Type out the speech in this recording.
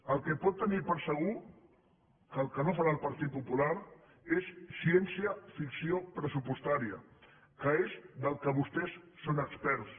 el que pot tenir per segur que no farà el partit popular és ciència ficció pressupostària que és del que vostès són experts